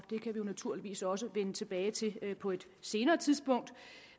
kan vi naturligvis også vende tilbage til på et senere tidspunkt